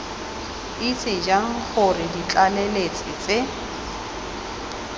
itse jang gore ditlaleletsi tse